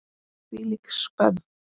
Hvílík skömm!